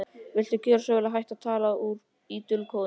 Viltu gjöra svo vel að hætta að tala í dulkóðum!